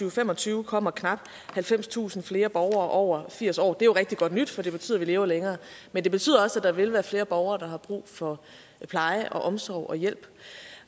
og fem og tyve kommer knap halvfemstusind flere borgere over firs år og det er jo rigtig godt nyt for det betyder at vi lever længere men det betyder også at der vil være flere borgere der har brug for pleje og omsorg og hjælp